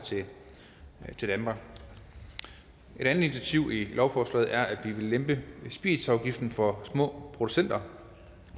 til danmark et andet initiativ i lovforslaget er at vi vil lempe spiritusafgiften for små producenter